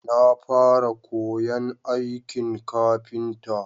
Na fara koyan aikin kafinta